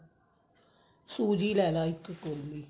ਸੂਜੀ ਲੈਲਾ ਇੱਕ ਕੋਲੀ